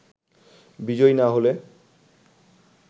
বিজয়ী না হলে